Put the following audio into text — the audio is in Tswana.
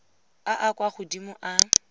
a a kwa godimo a